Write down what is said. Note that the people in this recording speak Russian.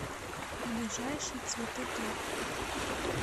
ближайший цветыторг